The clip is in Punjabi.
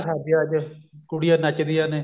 ਸ਼ਾਦੀਆਂ ਚ ਕੁੜੀਆਂ ਨੱਚਦੀਆਂ ਨੇ